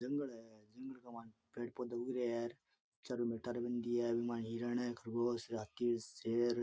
जंगल है जंगल के माय पेड़ पौधा उग रे है हिरण खरगोश शेर --